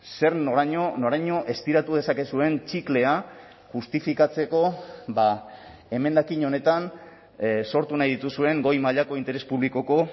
zer noraino noraino estiratu dezakezuen txiklea justifikatzeko emendakin honetan sortu nahi dituzuen goi mailako interes publikoko